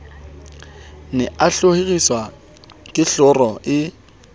ne a hloriswa kehlooho e